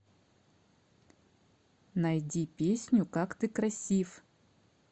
найди песню как ты красив